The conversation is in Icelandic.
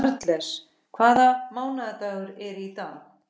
Karles, hvaða mánaðardagur er í dag?